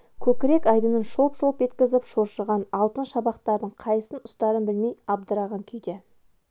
көкірек айдынын шолп-шолп еткізіп шоршыған алтын шабақтардың қайсысын ұстарын білмей абдыраған күйде